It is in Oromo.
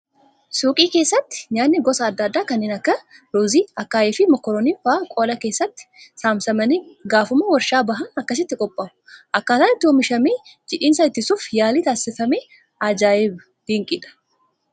Suuqii keessatti nyaatni gosa adda addaa kanneen akka ruuzii, akaayii fi mokoroonii fa'aa qola keessatti saamsamanii gaafuma waarshaa bahan akkattiin qophaa'u. Akkaataan itti oomishamee jiidhinsa ittisuuf yaaliin taasifame ajaa'iba, dinqiidha.